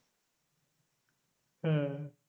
হ্যাঁ